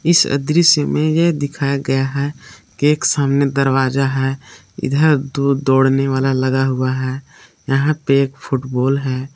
इस अदृश्य में यह दिखाया गया है कि एक सामने दरवाजा है इधर दो दौड़ने वाला लगा हुआ है यहां पे एक फुटबॉल है।